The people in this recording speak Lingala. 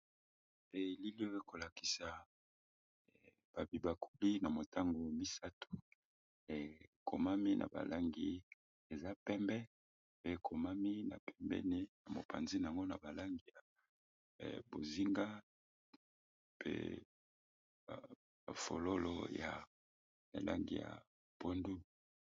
Elili ekolakisa ba bibakuli na motangu misatu ekomani na ba langi eza pembe pe na mopanzi nayango na balangi ya bonzinga pe na ba fololo ya langi ya pondu.